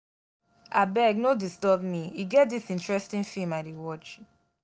abeg no disturb me e get dis interesting film i dey watch